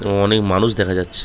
এবং অনেক মানুষ দেখা যাচ্ছে।